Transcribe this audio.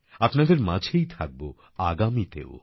আপনাদের মাঝেই থাকবো আগামীতেও